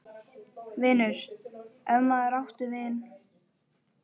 . vinur, ef maður átti vini.